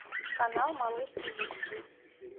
канал малыш тв